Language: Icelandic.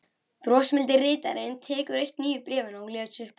Brosmildi ritarinn tekur eitt nýju bréfanna og les upphátt